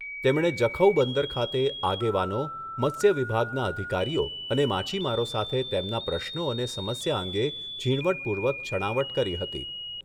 તેમણે જખૌ બંદર ખાતે આગેવાનો, મત્સ્ય વિભાગના અધિકારીઓ અને માછીમારો સાથે તેમના પ્રશ્નો અને સમસ્યા અંગે ઝીણવટપૂર્વક છણાવટ કરી હતી.